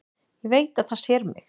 Ég veit að það sér mig.